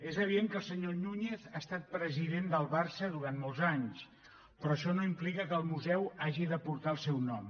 és evident que el senyor núñez ha estat president del barça durant molts anys però això no implica que el museu hagi de posar el seu nom